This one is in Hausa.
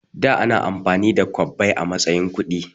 Da ana amfani da kwabbai a matsayin kuɗi